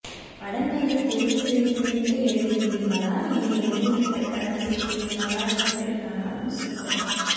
படங்களைத் தேர்வு செய்து விட்டு எழுதுகிறீர்களா இல்லை எழுதிவிட்டுப் படம் சேர்க்கிறீர்களா எப்படியானாலும் சூப்பர்